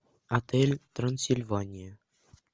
отель трансильвания